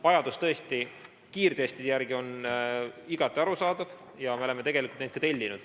Vajadus kiirtestide järele on igati arusaadav ja me oleme neid ka tellinud.